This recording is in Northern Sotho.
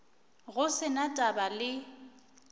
go se na taba le